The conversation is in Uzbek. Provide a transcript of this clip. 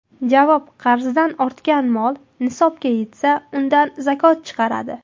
Javob: Qarzidan ortgan moli nisobga yetsa, undan zakot chiqaradi.